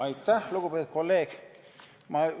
Aitäh, lugupeetud kolleeg!